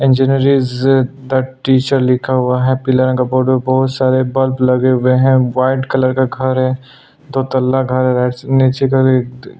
engineering the teacher लिखा हुआ है हैप्पी इलेवन का बोर्ड में बहुत सारे बल्ब लगे हुए है वाइट कलर का घर है दो तल्ला घर है नीचे --